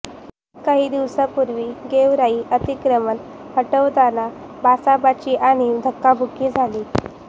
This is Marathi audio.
काही दिवसांपूर्वी गेवराईत अतिक्रमण हटवताना बाचाबाची आणि धक्काबुक्की झाली